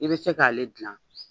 I bɛ se k'ale dilan